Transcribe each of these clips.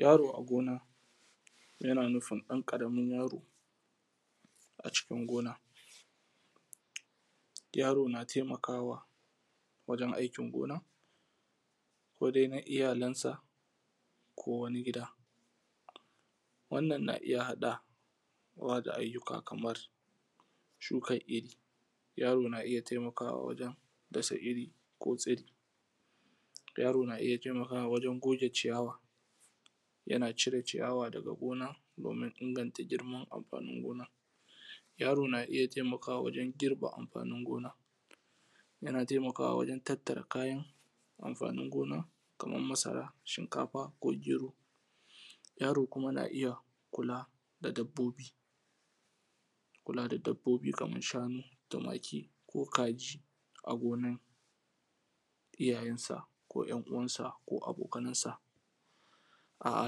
Yaro a gona yana nufin ɗan ƙaramin yaro a cikin gona, yaro na taimakawa wajen akin gona ko dai da iyalansa ko wani gida, wannan na iya haɗa wa da ayyuka kamar shuƙan iri. Yaro na iya na iya taimakawa wajen dasa iri ko tsiri, yaro na iya taimakawa wajen goge ciyawa, yana cire ciyawa daka gona gurin inganta girman amfanin gona. Yaro na iya taimakawa wajen girbe amfanin gona, yana taimakawa wajen tattara amfanin gona kamar masara, shinkafa ko gyero. Yaro kuma na iya kula da dabbobi, kula da dabbobi kamar shanu, tumaki ko kaji a gonan iyayansa ko ‘yan uwansa ko abokanan sa a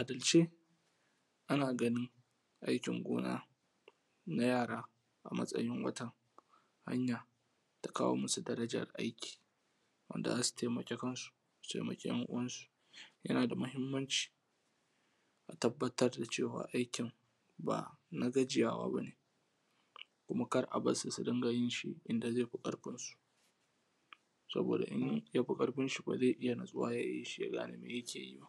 adalce, ana ganina akin gona na yara a samsin wata hannya da kawo musu darajaraki, wanda za su taimaka kansu su taimaka ‘yan uwansu, yana da matuƙar mahinmanci a tabattar da cewa: akin ba na gajiywa ba ne, ƙara ba su su dinga yin wanda ze fi ƙarfinsu, saboda in ya fi ƙarfin shi ba ze iya natsuwa ya yi shi ya gane me yake yi ba.